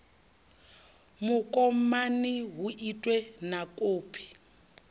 mukomani hu itwe na kopi